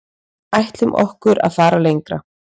Ætlum okkur að fara lengra